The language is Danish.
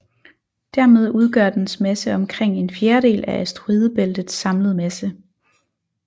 Dermed udgør dens masse omkring en fjerdedel af asteroidebæltets samlede masse